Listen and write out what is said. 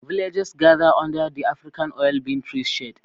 Villagers gathered under the African oil bean tree's shade.